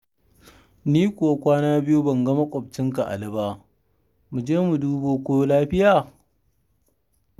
Ni kuwa kwana biyu ban ga maƙwabcinka Ali ba. Mu je mu dubo ko lafiya?